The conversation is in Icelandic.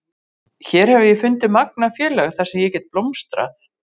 Hér hef ég fundið magnað félag þar sem ég get blómstrað.